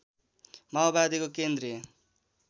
माओवादीको केन्द्रीय